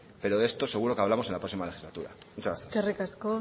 pero de esto seguro que hablamos en la próxima legislatura muchas gracias eskerrik asko